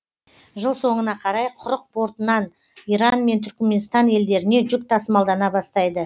жыл соңына қарай құрық портынан иран мен түрікменстан елдеріне жүк тасымалдана бастайды